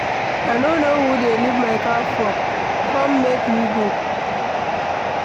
I no know who dey leave my car for ,come make we go